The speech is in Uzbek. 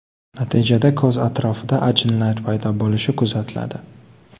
Natijada ko‘z atrofida ajinlar paydo bo‘lishi kuzatiladi.